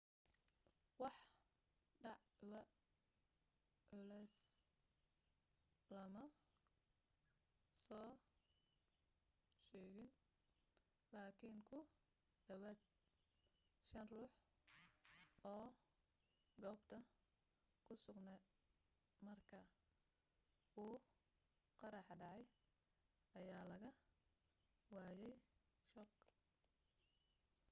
wax dhaawac culusa lama soo sheegin laakin ku dhawaad shan ruux oo goobta ku sugnaa marka uu qaraxa dhacay ayaa laga daaweyay shoog